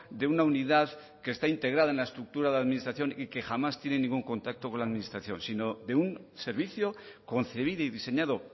de una unidad que está integrada en la estructura de administración y que jamás tiene ningún contacto con la administración sino de un servicio concebido y diseñado